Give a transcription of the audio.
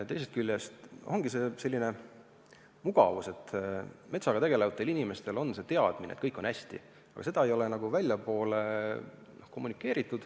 Teisest küljest on siin sellist mugavust: metsaga tegelevatel inimestel on teadmine, et kõik on hästi, aga seda ei ole nagu väljapoole kommunikeeritud.